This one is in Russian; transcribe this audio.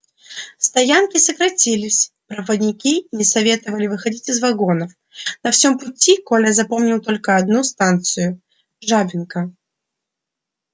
стоянки сократились проводники не советовали выходить из вагонов на всем пути коля запомнил только одну станцию жабинка